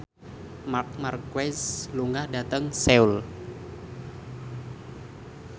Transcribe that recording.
Marc Marquez lunga dhateng Seoul